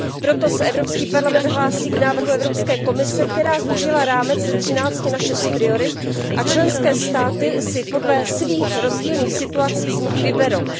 Proto se Evropský parlament hlásí k návrhu Evropské komise, která zúžila rámec ze třinácti na šest priorit, a členské státy si podle svých rozdílných situací z nich vyberou.